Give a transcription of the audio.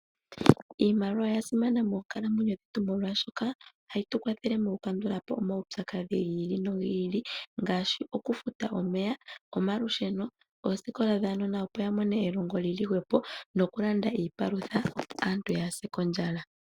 Iimaliwa oya simana moonkalamwenyo dhetu molwashoka, ohayi tu kwathele mokukandulapo omaupyakadhi gi ili no gi ngaashi okufuta omeya, omalusheno oosikola dhaanona opo yamone elongo li li hwepo nokulanda iipalutha opo aantu kaya se ondjala.